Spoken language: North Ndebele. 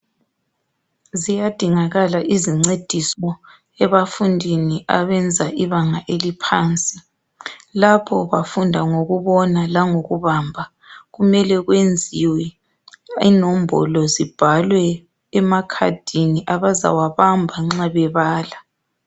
ziyadingakala izincediso ebafundini abenza ibanga eliphansi lapho bafunda ngokubona langokubamba kumele kuyenziwe inombolo zibhalwe emakhadini abayabamba nxabebala